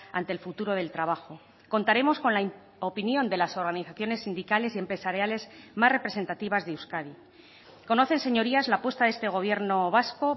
ante el futuro del trabajo contaremos con la opinión de las organizaciones sindicales y empresariales más representativas de euskadi conocen señorías la apuesta de este gobierno vasco